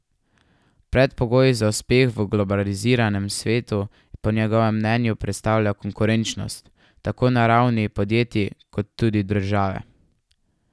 Predpogoj za uspeh v globaliziranem svetu po njegovem mnenju predstavlja konkurenčnost, tako na ravni podjetij kot tudi države.